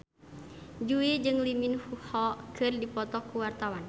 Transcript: Jui jeung Lee Min Ho keur dipoto ku wartawan